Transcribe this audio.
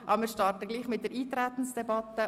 Wir starten dennoch mit der Eintretensdebatte.